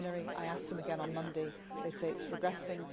I asked them again on Monday and they say it is progressing.